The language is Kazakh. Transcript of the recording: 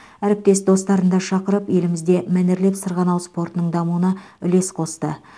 әріптес достарын да шақырып елімізде мәнерлеп сырғанау спортының дамуына үлес қосты